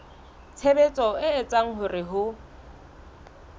tshebetso e etsang hore ho